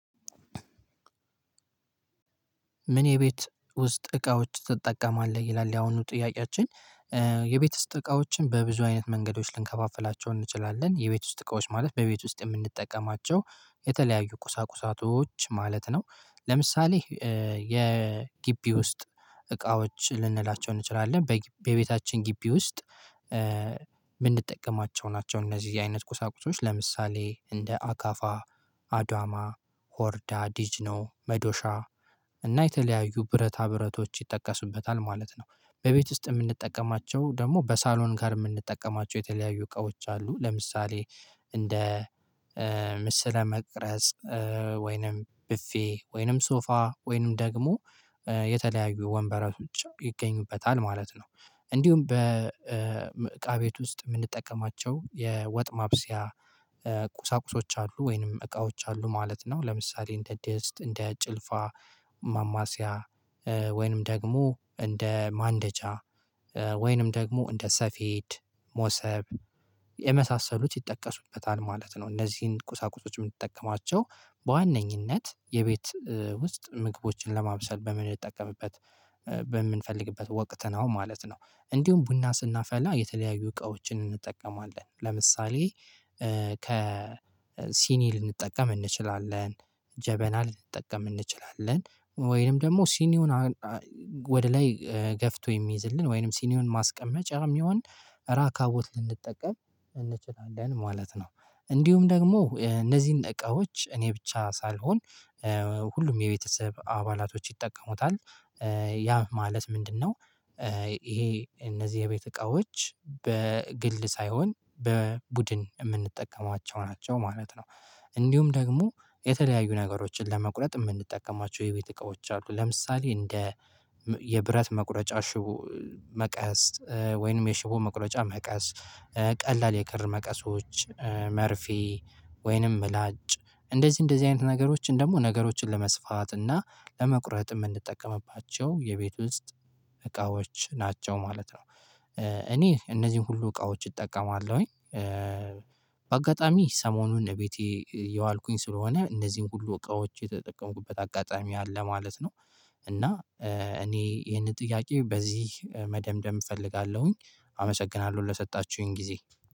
ምን የቤት ውስጥ እቃዎች ትጠቀማለህ ይላል ያሁኑ ጥያቄያችን? የቤት ውስጥ እቃዎችን በብዙ አይነት መንገዶች ልንከፋፍላቸው እንችላለን የቤት ውስጥ እቃዎች ማለት በቤት ውስጥ የምንጠቀማቸው የተለያዩ ቁሳቁሳቶች ማለት ነው። ለምሳሌ የጊቢ ውስጥ እቃዎች ልንላቸው እንችላለን በቤታችን ግቢ ውስጥ የምንጠቀማቸው ናቸው እነዚህ አይነት ቁሳቁሶች ለምሳሌ እንደ አካፋ አድዋማ ሆርዳ ዲጅኖ መዶሻ እና የተለያዩ ብረታ ብረቶች ይጠቀሱበታል ማለት ነው። በቤት ውስጥ የምንጠቀማቸው ደግሞ በሳሎን ጋር የምንጠቀማቸው የተለያዩ እቃዎች አሉ ለምሳሌ እንደ ምስለ መቅረጽ ወይንም ብፌ ወይንም ሶፋ ወይንም ደግሞ የተለያዩ ወንበራዎችም ይገኙበታል ማለት ነው። እንዲሁም በእቃ ቤት ውስጥ የምንጠቀማቸው የወጥ ማብሰያ ቁሳቁሶች አሉ ወይንም እቃዎች አሉ ማለት ነው ለምሳሌ እንደ ድስት እንደ ጭልፋ ማማሲያ ወይንም ደግሞ እንደ ማንደጃ ወይንም ደግሞ እንደ ሰፌድ ሞሰብ የመሳሰሉት ይጠቀሱበታል ማለት ነው እነዚህን ቁሳቁሶች የምንጠቀማቸው በዋነኝነት የቤት ውስጥ ምግቦችን ለማብሰል በምንጠቀምበት በምንፈልግበት ወቅት ነው ማለት ነው። እንዲሁም ቡና ስናፈላ የተለያዩ እቃዎችን እንጠቀማለን ለምሳሌ ከ ሲኒ ልንጠቀም እንችላለን ጀበና ልንጠቀም እንችላለን ወይንም ደግሞ ሲኒውን ወደ ላይ ገፍቶ የሚይዝልን ወይንም ሲኒውን ማስቀመጫም ይሆን ራካ ቦት ልንጠቀም እንችላለን ማለት ነው። እንዲሁም ደግሞ እነዚህን እቃዎች እኔ ብቻ ሳልሆን ሁሉም የቤተሰብ አባላቶች ይጠቀሙታል ያ ማለት ምንድነው? ይሄ እነዚህ የቤት እቃዎች በግል ሳይሆን በቡድን የምንጠቀማቸው ናቸው ማለት ነው። እንዲሁም ደግሞ የተለያዩ ነገሮችን ለመቁረጥ የምንጠቀማቸው የቤት እቃዎች አሉ ለምሳሌ እንደ የብረት መቁረጫ ሽቦ መቀስ ወይንም የሽቦ መቁረጫ መቀስ ቀላል የክር መቀሶች መርፌ ወይንም ምላጭ እንደዚህ እንደዚህ አይነት ነገሮችን ደግሞ ነገሮችን ለመስፋት እና ለመቁረጥ የምንጠቀምባቸው የቤት ውስጥ እቃዎች ናቸው ማለት ነው። እኔ እነዚህን ሁሉ እቃዎች እጠቀማለሁኝ በአጋጣሚ ሰሞኑን እቤቴ እየዋልኩኝ ስለሆነ እነዚህን ሁሉ እቃዎች የተጠቀምኩበት አጋጣሚ አለ ማለት ነው። እና እኔ ይሄንን ጥያቄ በዚህ መደምደም እፈልጋለሁኝ። አመሰግናለሁ ለሰጣችሁኝ ጊዜ